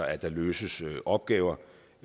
altså løses opgaver